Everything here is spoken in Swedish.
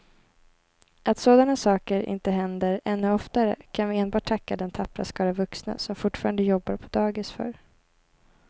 Att sådana saker inte händer ännu oftare kan vi enbart tacka den tappra skara vuxna som fortfarande jobbar på dagis för.